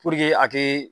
a kɛ